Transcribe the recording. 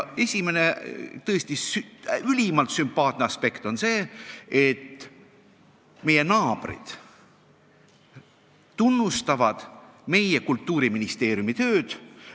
Üks tõesti ülimalt sümpaatne aspekt on see, et meie naabrid tunnustavad meie Kultuuriministeeriumi tööd.